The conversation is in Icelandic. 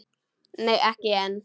Nei ekki enn.